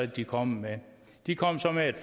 de kom med de kom så med et